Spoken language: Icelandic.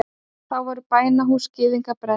Þá voru bænahús gyðinga brennd.